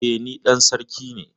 E, ni dan sarki ne.